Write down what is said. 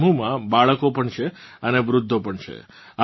આ સમૂહમાં બાળકો પણ છે અને વૃદ્ધો પણ છે